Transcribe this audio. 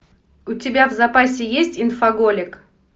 у тебя в запасе есть инфоголик